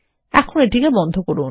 এখন এটি বন্ধ করুন